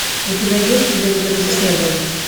у тебя есть тебя никогда здесь не было